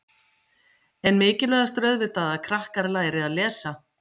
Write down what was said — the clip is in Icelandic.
En mikilvægast er auðvitað að krakkar læri að lesa?